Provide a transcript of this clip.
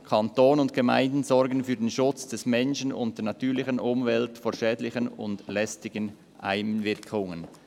«Kanton und Gemeinden sorgen für den Schutz des Menschen und der natürlichen Umwelt vor schädlichen und lästigen Einwirkungen.